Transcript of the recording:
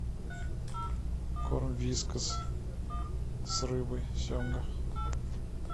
корм вискас с рыбой семга